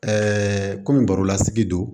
komi barolasigi don